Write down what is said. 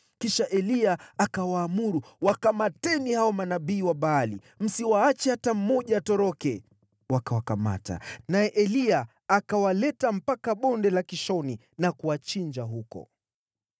Kisha Eliya akawaamuru, “Wakamateni hao manabii wa Baali. Msimwache hata mmoja atoroke!” Wakawakamata, naye Eliya akawaleta mpaka Bonde la Kishoni na kuwachinja huko.